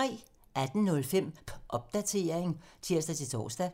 18:05: Popdatering (tir-tor)